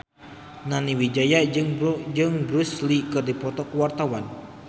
Nani Wijaya jeung Bruce Lee keur dipoto ku wartawan